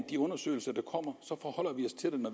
de undersøgelser der kommer